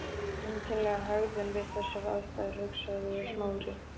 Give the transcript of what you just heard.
Einkennileg hegðun við þessar aðstæður, hugsaði Smári.